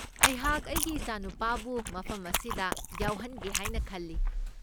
ꯑꯩꯍꯥꯛ ꯑꯩꯒꯤ ꯏꯆꯥꯅꯨꯄꯥꯕꯨ ꯃꯐꯝ ꯑꯁꯤꯗ ꯌꯥꯎꯍꯟꯒꯦ ꯍꯥꯏꯅ ꯈꯜꯂꯤ꯫